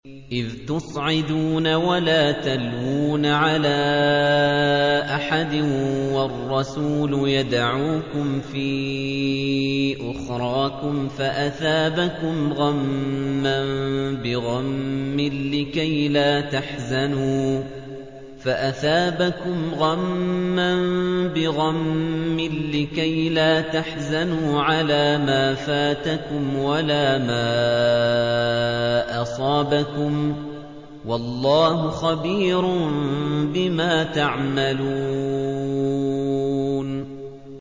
۞ إِذْ تُصْعِدُونَ وَلَا تَلْوُونَ عَلَىٰ أَحَدٍ وَالرَّسُولُ يَدْعُوكُمْ فِي أُخْرَاكُمْ فَأَثَابَكُمْ غَمًّا بِغَمٍّ لِّكَيْلَا تَحْزَنُوا عَلَىٰ مَا فَاتَكُمْ وَلَا مَا أَصَابَكُمْ ۗ وَاللَّهُ خَبِيرٌ بِمَا تَعْمَلُونَ